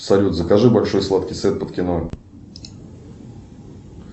салют закажи большой сладкий сет под кино